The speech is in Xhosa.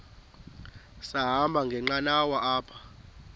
sahamba ngenqanawa apha